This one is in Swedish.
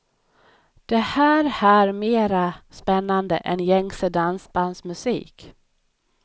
Det här här mera spännande än gängse dansbandsmusik.